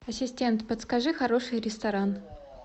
ассистент подскажи хороший ресторан